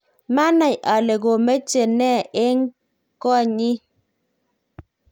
maanai ale komeche ne eng; koot nyin